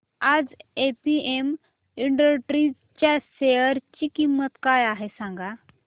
आज APM Industries च्या share ची किंमत काय आहे सांगा